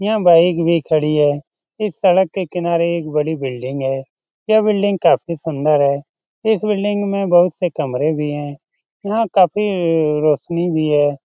यहाँ बाइक भी खड़ी है। इस सड़क के किनारे एक बड़ी बिल्डिंग है। यह बिल्डिंग काफी सुंदर है। इस बिल्डिंग में बहुत से कमरे भी हैं। यहाँ काफी रोशनी भी है।